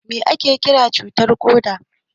Mai ake Kiran cuta na koda?